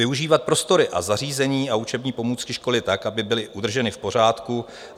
"Využívat prostory a zařízení a učební pomůcky školy tak, aby byly udrženy v pořádku.